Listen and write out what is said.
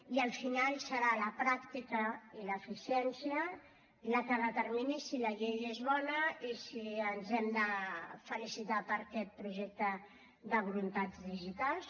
i al final seran la pràctica i l’eficiència les que determinin si la llei és bona i si ens hem de felicitar per aquest projecte de voluntats digitals